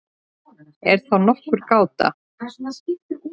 Er þá nokkur gáta?